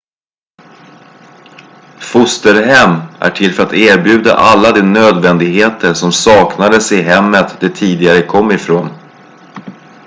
fosterhem är till för att erbjuda alla de nödvändigheter som saknades i hemmet de tidigare kom från